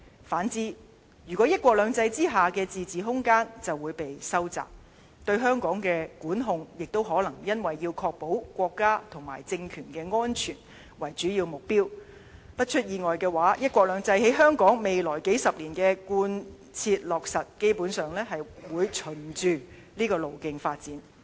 反之，"一國兩制"之下的自治空間就會被收窄，對香港的管控亦都可能以確保國家及政權安全為主要目標，一旦出現意外，"一國兩制"於香港未來數十年的貫切落實，基本上會循着這個路徑發展。